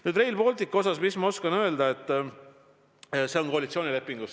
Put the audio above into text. Nüüd, Rail Baltic – mis ma oskan öelda?